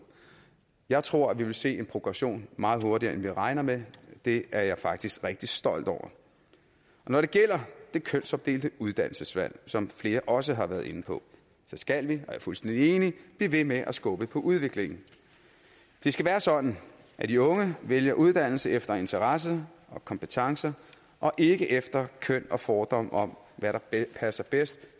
jeg tror at vi vil se en progression meget hurtigere end vi regner med det er jeg faktisk rigtig stolt over når det gælder det kønsopdelte uddannelsesvalg som flere også har været inde på skal vi og jeg er fuldstændig enig blive ved med at skubbe på udviklingen det skal være sådan at de unge vælger uddannelse efter interesse og kompetencer og ikke efter køn og fordomme om hvad der passer bedst